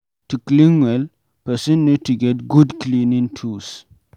To clean well, person need to get good cleaning tools